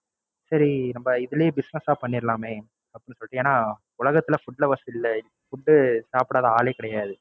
சரி நம்ப இதுலயே Business ஆ பண்ணிறலாமே அப்படின்னு சொல்லிட்டு ஏன்னா உலகத்துல Food உ சாப்பிடாத ஆளே கிடையாது.